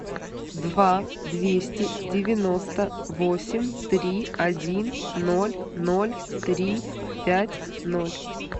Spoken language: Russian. два двести девяносто восемь три один ноль ноль три пять ноль